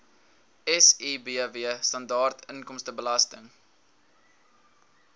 sibw standaard inkomstebelasting